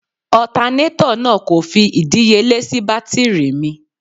Ọtanátọ̀ náà kò fi ìdíyelé sì bátírì mi.